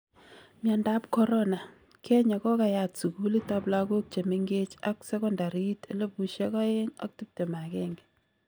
Myandap corona: Kenya kokayaat sukuulit ab lakook chemengech ak sekontariit 2021